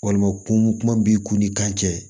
Walima kun kuma b'i ku ni kan cɛ